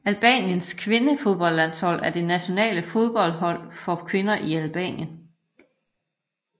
Albaniens kvindefodboldlandshold er det nationale fodboldhold for kvinder i Albanien